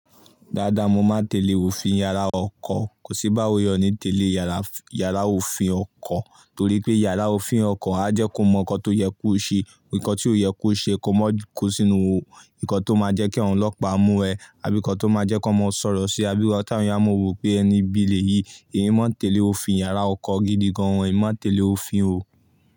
Dáadáa mo máa tẹ̀lé òfin àrá ọkọ̀. Kò sí báwo yẹn ní tẹ̀lé yàrá òfin ọkọ̀ torí pé yàrá òfin ọkọ̀ á jẹ́ kó mọ nǹkan tó yẹ kó ṣe, nǹkan tí ó yẹ kó ṣe kó má kó sínú ò, nǹkan tó máa jẹ́ kí àwọn ọlọ́pàá mú ẹ, àbí nǹkan tó máa jẹ́ kó má sọ̀rọ̀ sí abí wọ̀ tá ń yá. Mon rò pé ẹni ibi lẹ̀yìí, èmi máa tẹ̀lé òfin iyàrá ọkọ̀ gidi gan an, èmi máa tẹ̀lé òfin ò.